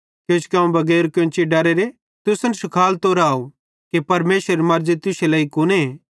किजोकि अवं बगैर केन्ची डरेरां तुसन शिखालतो राव कि परमेशरेरी मर्ज़ी तुश्शे लेइ कुने